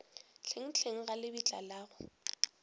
hlenghleng ga lebitla la go